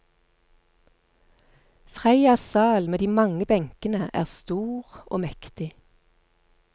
Freias sal med de mange benkene er stor og mektig.